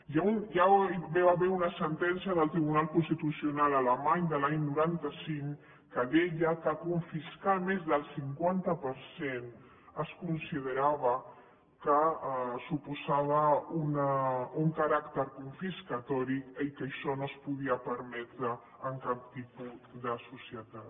ja hi va haver una sentència del tribunal constitucional alemany de l’any noranta cinc que deia que confiscar més del cinquanta per cent es considerava que suposava un caràcter confiscador i que això no es podia permetre en cap tipus de societat